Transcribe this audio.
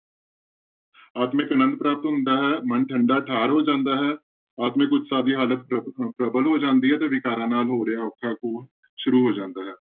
ਆਤਮਿਕ ਆਨੰਦ ਪ੍ਰਾਪਤ ਹੁੰਦਾ ਹੈ, ਮਨ ਠੰਢਾ ਠਾਰ ਹੋ ਜਾਂਦਾ ਹੈ, ਆਤਮਿਕ ਉਤਸ਼ਾਹ ਦੀ ਹਾਲਤ ਪ੍ਰਬ ਪ੍ਰਬਲ ਹੋ ਜਾਂਦੀ ਹੈ ਤੇ ਵਿਕਾਰਾਂ ਨਾਲ ਹੋ ਰਿਹਾ ਔਖਾ ਘੋਲ ਸ਼ੁਰੂ ਹੋ ਜਾਂਦਾ ਹੈ।